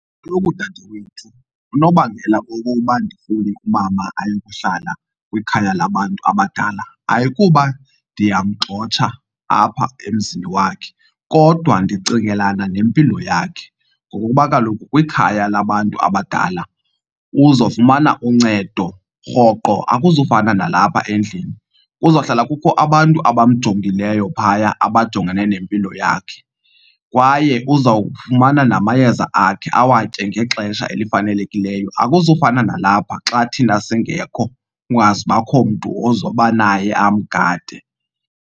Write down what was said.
Kaloku dadewethu unobangela wokuba ndifune umama ayokuhlala kwikhaya labantu abadala ayikuba ndiyamgxotha apha emzini wakhe kodwa ndicingelana nempilo yakhe. Ngokokuba kaloku kwikhaya labantu abadala uzofumana uncedo rhoqo, akuzufana nalapha endlini. Kuzohlala kukho abantu abamjongileyo phaya abajongene nempilo yakhe kwaye uzawufumana namayeza akhe awatye ngexesha elifanelekileyo. Akuzufana nalapha xa thina singekho, kungazubakho mntu ozoba naye amgade.